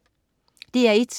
DR1: